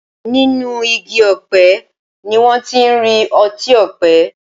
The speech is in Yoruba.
Nínú Igi ọ̀pẹ ni wón tí ń rí otí òpe.